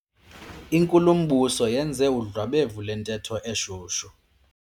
Inkulumbuso yenze udlwabevu lwentetho eshushu.